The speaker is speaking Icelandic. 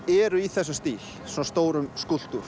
eru í þessum stíl svona stórum skúlptúr